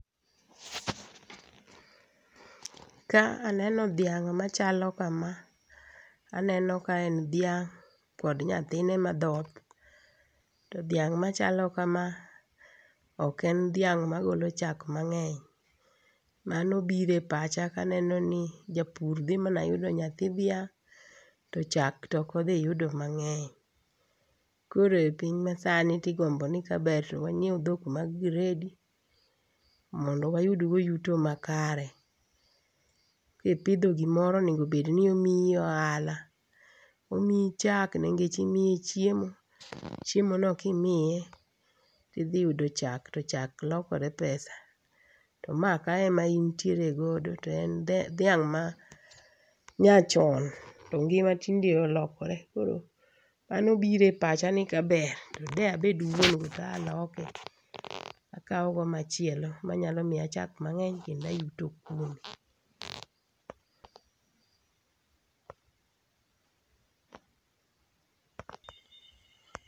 ka aneno dhiang machalo kama, aneno ka en dhaing kod nyathine madhoth to dhiang machalo kaka ok en dhiang magolo chak mang'eny mano biro e pacha kaneno ni japur dhi mana yudo nyathi dhiang to chak to ok odhi yudo mang'eny, koro e piny masani tigombo ni kaber to wangiew dhok mag gredi mondo wayudo go yuto makare ,kipidho gimoro onego bed ni omiyi ohala, omiyi chak nikech imiye chiemo ,chiemo no kimiye to idhi yudo chak to chak lokre pesa to ma emaka intiere godo to en dhaing ma nyachon to ngima tinde olokore koro ,mano biro e pacha ni kaber to de abed wuon go to aloke akaw go machielo manyalo miya chak mang'eny kendo ayuto kuome